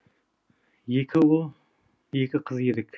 екі ұл екі қыз едік